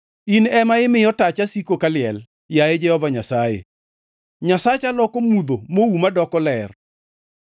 In ema imiyo tacha siko kaliel, yaye Jehova Nyasaye; Nyasacha loko mudho mouma doko ler.